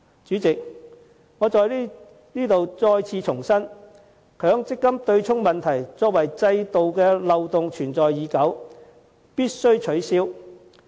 主席，我在此重申，強積金對沖機制這項制度漏洞存在已久，必須予以取消。